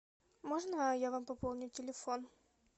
можно я вам пополню телефон